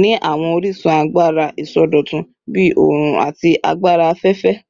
ni awọn orisun agbara isọdọtun bii oorun ati agbara afẹfẹ